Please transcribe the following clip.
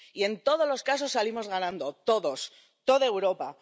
Y en todos los casos salimos ganando, todos, toda Europa.